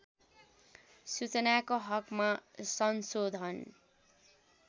सूचनाको हकमा संशोधन